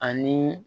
Ani